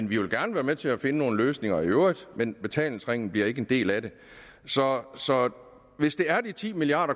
vi vil gerne være med til at finde nogle løsninger i øvrigt men betalingsringen bliver ikke en del af det så hvis det er de ti milliard